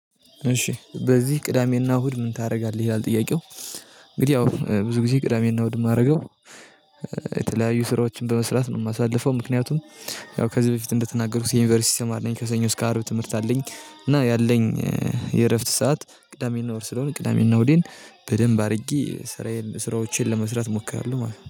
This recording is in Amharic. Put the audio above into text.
እሺ በዚህ ቅዳሜና እሁድ ምን ታደርጋለህ? ይላል ጥያቄው እንግዲህ ያው ብዙ ጊዜ ቅዳሜና እሁድ የማደርገው ስራዎችን በመስራት ነው የማሳልፈው ምክንያቱም ያው ከዚህ በፊት እንደተናገርኩት የዩኒቨርሲቲ ተማሪ ነኝ ከሰኞ እስከ አርብ ትምህርት አለኝ እና ያለኝ የእረፍት ሰዓት ቅዳሜ እና እሁድ ስለሆነ ቅዳሜና እሁዴን በደንብ አድርጌ ስራዬን ስራዎቼን ለመስራት እሞክራለሁ ማለት ነው።